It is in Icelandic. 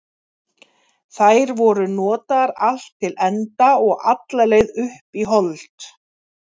Þær voru notaðar allt til enda og alla leið upp í hold.